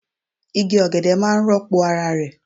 Igi ogede maa n ropo ara re